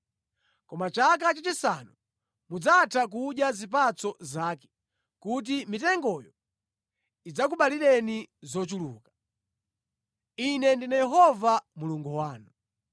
Koma chaka chachisanu, mudzatha kudya zipatso zake kuti mitengoyo idzakubalireni zochuluka. Ine ndine Yehova Mulungu wanu.